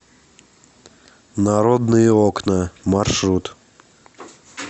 народные окна маршрут